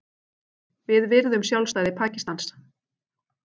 Við virðum sjálfstæði Pakistans